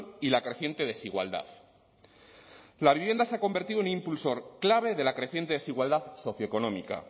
y la creciente desigualdad la vivienda se ha convertido en un impulsor clave de la creciente desigualdad socioeconómica